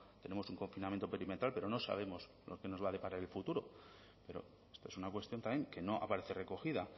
tenemos un confinamiento perimetral pero no sabemos lo que nos va a deparar el futuro pero esta es una cuestión también que no aparece recogida